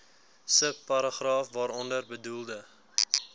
subparagraaf waaronder bedoelde